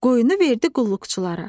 Qoyunu verdi qulluqçulara.